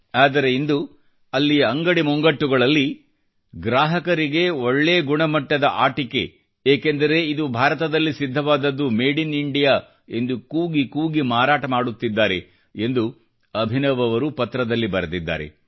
ಆದರೆ ಇಂದು ಅಲ್ಲಿಯ ಅಂಗಡಿಕಾರರು ಗ್ರಾಹಕರಿಗೆ ಒಳ್ಳೆ ಗುಣಮಟ್ಟದ ಆಟಿಕೆ ಏಕೆಂದರೆ ಇದು ಭಾರತದಲ್ಲಿ ಸಿದ್ಧವಾದದ್ದು ಮೇಡ್ ಇನ್ ಇಂಡಿಯಾ ಎಂದು ಕೂಗಿ ಕೂಗಿ ಮಾರಾಟ ಮಾಡುತ್ತಿದ್ದಾರೆ ಎಂದು ಅಭಿನವ್ ಅವರು ಪತ್ರದಲ್ಲಿ ಬರೆದಿದ್ದಾರೆ